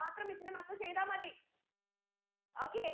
മാത്രം miss ന്റെ മക്കൾ ചെയ്താ മതി okay